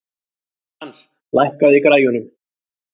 Frans, lækkaðu í græjunum.